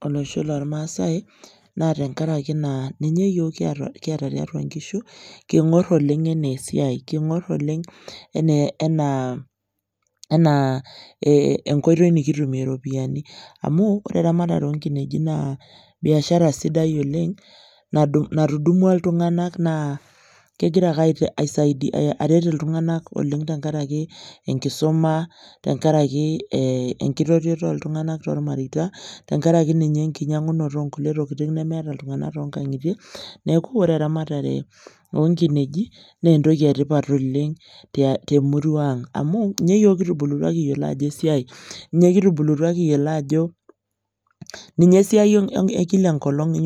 tolosho lormaasae naa tenkarakinaa ninye yiok kiata tiatua nkishu kingor oleng anaa esiai enaa enkoitoi nikitumie iropiyiani amu ore eramatare onkineji naa biashara sidai oleng natudumua iltunganak oleng tenkaraki enkisuma, tenkaraki enkitotioto oltunganak tormareita , tenkaraki ninye enkinyangunoto onkulie tokitin nemeeta iltunganak toonkangitie . Neku ore eramatare onkineji naa entoki etipat oleng temurua ang amu ninye esiai ekila enkolong